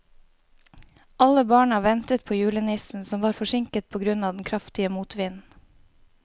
Alle barna ventet på julenissen, som var forsinket på grunn av den kraftige motvinden.